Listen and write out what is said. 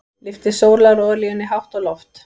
Lyfti sólarolíunni hátt á loft.